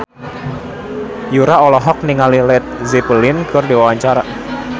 Yura olohok ningali Led Zeppelin keur diwawancara